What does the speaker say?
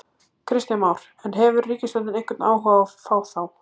Kristján Már: En, hefur ríkisstjórnin einhvern áhuga á að fá þá?